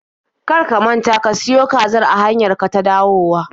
Kar ka manta ka siyo kazar a hanyar ka ta dawowa!